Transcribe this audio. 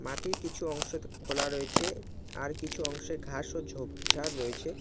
মাঠের কিছু অংশ খোলা রয়েছে আর কিছু অংশে ঘাস ও ঝোপঝাড় রয়েছে।